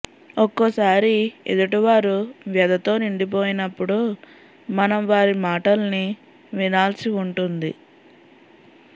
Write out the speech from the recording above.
ఒక్కోసారి ఎదుటివారు వ్యధతో నిండి పోయినప్పుడు మనం వారి మాటల్ని వినాల్సి ఉంటుంది